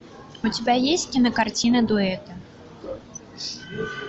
у тебя есть кинокартина дуэт